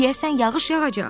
Deyəsən yağış yağacaq.